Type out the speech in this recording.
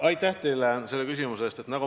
Aitäh teile selle küsimuse eest!